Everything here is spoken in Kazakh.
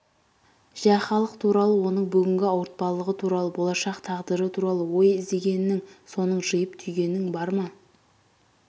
жә халық туралы оның бүгінгі ауыртпалығы туралы болашақ тағдыры туралы ой іздегенің соны жиып түйгенің бар ма